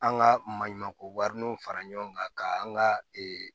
An ka maɲumanko wariniw fara ɲɔgɔn kan ka an ka